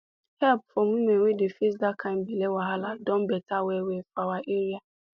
help for women wey dey face that kind belle wahala don better well well for our area